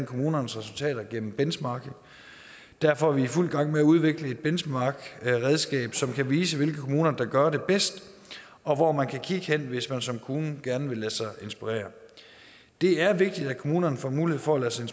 kommunernes resultater gennem benchmarking derfor er vi i fuld gang med at udvikle et benchmarkredskab som kan vise hvilke kommuner der gør det bedst og hvor man kan kigge hen hvis man som kommune gerne vil lade sig inspirere det er vigtigt at kommunerne får mulighed for at lade sig